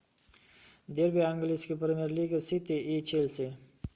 дерби английской премьер лиги сити и челси